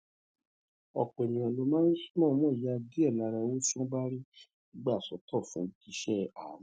òpò èèyàn ló máa ń mòómò ya díè lára owó tí wón bá rí gbà sótò fún iṣé àánú